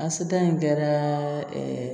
A seta in kɛra